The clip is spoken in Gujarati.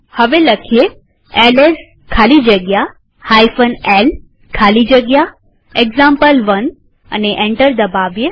હવે એલએસ ખાલી જગ્યા l ખાલી જગ્યા એક્ઝામ્પલ1 લખીએ અને એન્ટર દબાવીએ